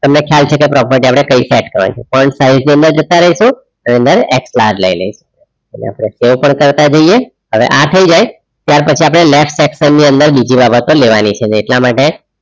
તમને ખ્યાલ છે કે property આપણે કઈ start કરવાની છે size ની અંદર જતા રહીશું એની અંદર ex plants લઈ લઈશું હવે આપણે એ પણ કરતા જઈએ હવે આ થઈ જાય ત્યાર પછી આપણે left section અંદર બીજી બાબતો લેવાની છે એટલા માટે